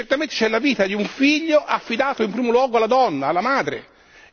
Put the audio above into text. Certamente, c'è la vita di un figlio affidato in primo luogo alla donna, alla madre.